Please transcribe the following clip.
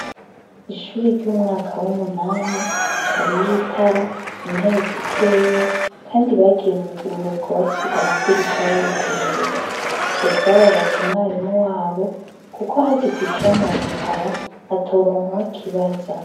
Ishure ry'umwaka w'umunani, hariyo itara, intebe zikeyi, kandi bagiye mu buruhuko basiga amadirisha yuguruye. Ivyo vyababaje umwarimu wabo kuko hagize icononekara atoronka uwo akibaza.